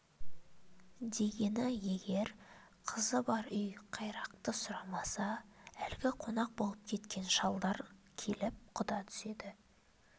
дегені егер қызы бар үй қайрақты сұрамаса әлгі қонақ болып кеткен шалдар келіп құда түседі